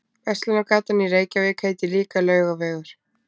Verslunargatan í Reykjavík heitir líka Laugavegur.